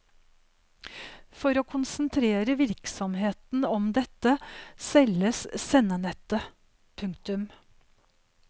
For å konsentrere virksomheten om dette selges sendenettet. punktum